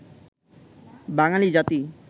বাঙালি জাতি